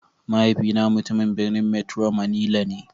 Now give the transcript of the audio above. Mahaifina mutumin birnin metro manilla ne.